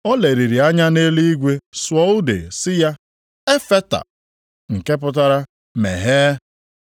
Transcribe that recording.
O leliri anya nʼeluigwe sụọ ude sị ya, \+wj “Ef fata,”\+wj* nke pụtara “Meghee!”